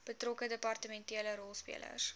betrokke departementele rolspelers